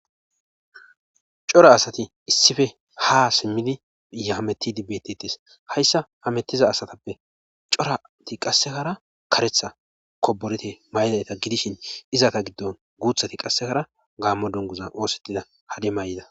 Cora asati issife ha simmidi yaametidi betetes hayssa hametiza asatappe corati qassekara karetha koborete may7dayta gidishin izata giddon guuthati qassekara gaammo dunguza oosettida hade may7ida.